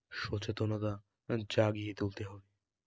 সচেতনা জাগিয়ে তুলতে হবে ।